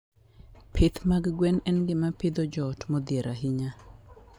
Pith mag gwen en gima pidho joot modhier ahinya.